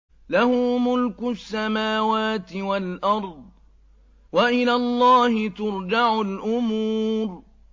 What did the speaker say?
لَّهُ مُلْكُ السَّمَاوَاتِ وَالْأَرْضِ ۚ وَإِلَى اللَّهِ تُرْجَعُ الْأُمُورُ